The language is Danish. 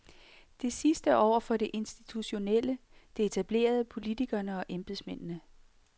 Det sidste over for det institutionelle, det etablerede, politikerne og embedsmændene.